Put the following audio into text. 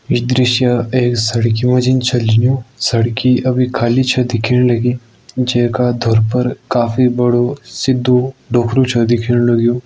इ दृश्य एक सड़कि म जि छ लिनयुं। सड़की अबि खाली छ दिखेण लगी जेका धुर पर काफी बड़ो सिद्धो डोखरु छ दिखेण लग्युं।